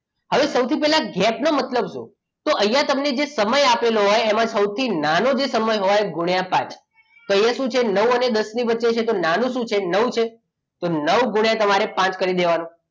હવે સૌથી પહેલાં કેપ નો મતલબ શું? તો અહીંયા તમને જે સમય આપેલો હોય એમાં સૌથી નાનો જે સમય હોય ગુણ્યા સાત તો અહીંયા શું છે નવ અને દસ ની વચ્ચે નાનો શું છે તો નવ છે તો નવ ગુણ્યા તમારે પાંચ કરી દેવાના